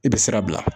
I bɛ sira bila